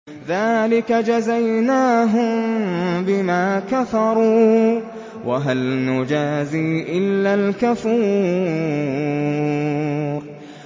ذَٰلِكَ جَزَيْنَاهُم بِمَا كَفَرُوا ۖ وَهَلْ نُجَازِي إِلَّا الْكَفُورَ